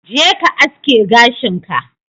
Jeka ka aske gashin ka.